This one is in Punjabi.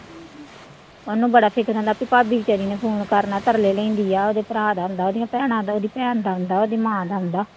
ਉਹਨੂੰ ਬੜਾ ਫ਼ਿਕਰ ਹੁੰਦਾ ਵੀ ਭਾਬੀ ਬੇਚਾਰੀ ਨੇ phone ਕਰਨਾ ਤਰਲੇ ਲੈਂਦੀ ਆ ਉਹਦੇ ਭਰਾ ਦਾ ਆਉਂਦਾ, ਉਹਦੀਆਂ ਭੈਣਾਂ ਦਾ, ਉਹਦੀ ਭੈਣ ਦਾ ਆਉਂਦਾ, ਉਹਦੀ ਮਾਂ ਦਾ ਆਉਂਦਾ।